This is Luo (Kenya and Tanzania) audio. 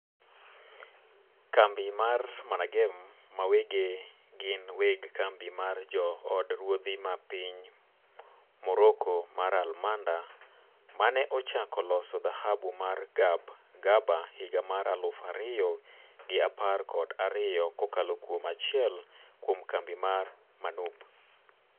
Kambi mar Managem ma wege gin weg kambi mar jo od ruodhi ma piny Morocco mar Almanda maneochako loso dhahabu mar Gabgaba higa mar aluf ariyo gi apar kod ariyo kokalo kuom achiel kuom kambi mar MANUB